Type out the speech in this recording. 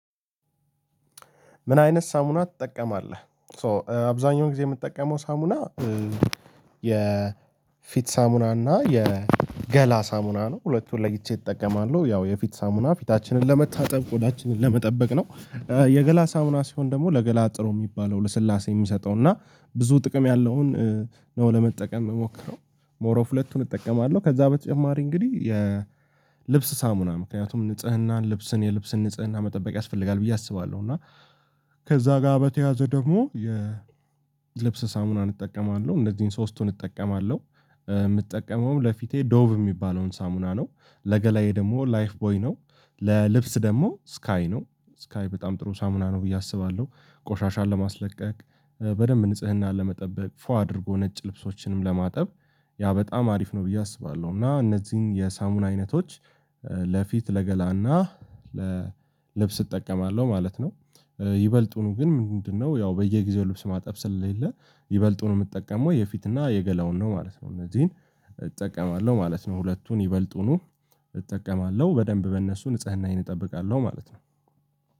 ምን አይነት ሳሙና ትጠቀማለህ? ሶ አብዛኛውን ጊዜ የምትጠቀመው ሳሙና የ የፊት ሳሙና እና የገላ ሳሙና ነው ሁለቱን ለይቼ እጠቀማለሁ ያው የፊት ሳሙና ፊታችንን ለመታጠብ ቆዳችንን ለመጠበቅ ነው። የገላ ሳሙና ሲሆን ደግሞ ለገላ ጥሩ የሚባለው ለስላሴ የሚሰጠው እና ብዙ ጥቅም ያለውን ነው። ለመጠቀም የምሞክረው ሞር ኦፍ ሁለቱን እጠቀማለሁ ከዛ በተጨማሪ እንግዲህ የልብስ ሳሙና ምክንያቱም ንጽህናን ልብስን የልብስን ንጽህና መጠበቅ ያስፈልጋል ብዬ አስባለሁ እና ከዛ ጋር በተያያዘ ደግሞ የልብስ ሳሙናን እጠቀማለሁ እነዚህን ሶስቱን እጠቀማለሁ። የምጠቀመውም ለፊቴ ዶቭ የሚባለውን ሳሙና ነው ለገላዬ ደግሞ ላይፍ ቦይ ነው ለልብስ ደግሞ ስካይ ነው ስካይ በጣም ጥሩ ሳሙና ነው ብዬ አስባለሁ። ቆሻሻን ለማስለቀቅ በደንብ ንጽህናን ለመጠበቅ ፏ አድርጎ ነጭ ልብሶችንም ለማጠብ ያ በጣም አሪፍ ነው ብዬ አስባለሁ። እና እነዚህን የሳሙና አይነቶች ለፊት ለገላና ለልብስ እጠቀማለሁ ማለት ነው። ይበልጡኑ ግን ምንድነው ያው በየጊዜው ልብስ ማጠፍ ስለሌለ ይበልጡኑ የምትጠቀመው የፊትና የገላውን ነው ማለት ነው። እነዚህን እጠቀማለሁ ማለት ነው። ሁለቱን ይበልጡኑ እጠቀማለሁ በደንብ በእነሱ ንጽህናዬን እጠብቃለሁ ማለት ነው።